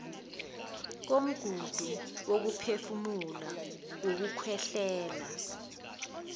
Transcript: komgudu wokuphefumula ukukhwehlela